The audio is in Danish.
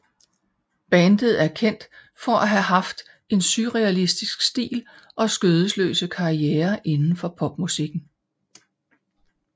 Bandet er kendt for at have haft en surrealistisk stil og skødesløse karrierer inden for popmusikken